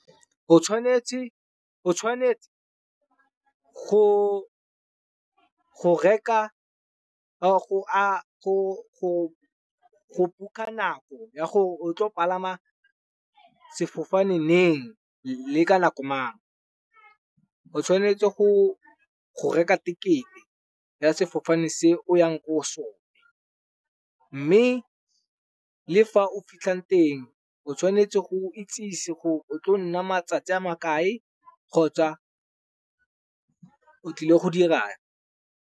O tshwanetse go reka go buka nako ya gore o tlo palama sefofane neng le ka nako mang. O tshwanetse go reka tekete ya sefofane se o yang ko go sone. Mme le fa o fitlhang teng o tshwanetse go itsise gore o tlo nna matsatsi a ma kae kgotsa o tlile go dirang.